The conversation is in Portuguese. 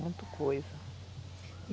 Muita coisa.